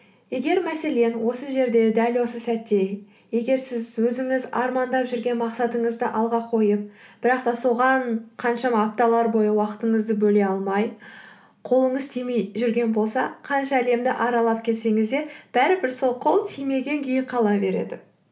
егер мәселен осы жерде дәл осы сәтте егер сіз өзіңіз армандап жүрген мақсатыңызды алға қойып бірақ та соған қаншама апталар бойы уақытыңызды бөле алмай қолыңыз тимей жүрген болса қанша әлемді аралап келсеңіз де бәрі бір сол қол тимеген күйі қала береді